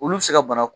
Olu bɛ se ka bana